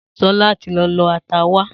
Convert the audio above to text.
Sola ti lọ lọ ata wá